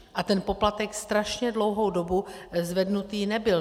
A ten poplatek strašně dlouhou dobu zvednutý nebyl.